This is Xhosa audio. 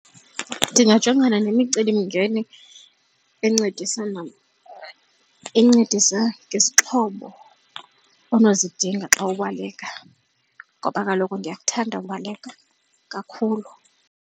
Ndingajongana nemicelimngeni encedisa incedisa ngesixhobo onozidinga xa ubaleka ngoba kaloku ndiyakuthanda ubaleka kakhulu.